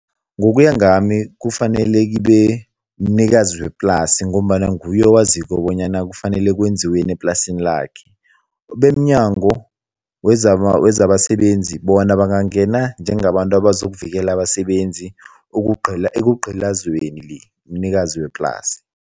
Ngokuya ngami, kufanele kibe mnikazi weplasi ngombana nguye owaziko bonyana kufanele kwenziweni eplasini lakhe, bemNyango wezabaSebenzi bona bangangena njengabantu abazokuvikela abasebenzi ekugcilazweni mnikazi weplasi.